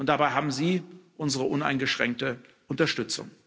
Dabei haben Sie unsere uneingeschränkte Unterstützung.